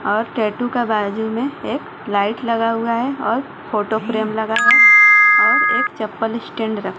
और टैटू का बाजू में एक लाइट लगा हुआ है और फोटो फ्रेम लगा है और एक चप्पल स्टैंड र--